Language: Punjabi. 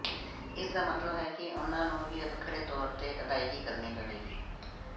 ਇਸ ਦਾ ਮਤਲਬ ਹੈ ਕਿ ਉਨ੍ਹਾਂ ਨੂੰ ਵੀ ਵੱਖਰੇ ਤੌਰ ਤੇ ਅਦਾਇਗੀ ਕਰਨੀ ਪਵੇਗੀ